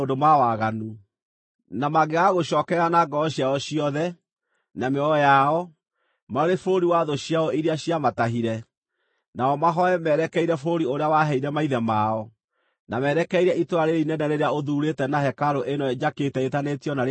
na mangĩgagũcookerera na ngoro ciao ciothe, na mĩoyo yao, marĩ bũrũri wa thũ ciao iria ciamatahire, nao mahooe merekeire bũrũri ũrĩa waheire maithe mao, na merekeire itũũra rĩrĩa inene rĩrĩa ũthuurĩte na hekarũ ĩno njakĩte ĩĩtanĩtio na Rĩĩtwa rĩaku-rĩ;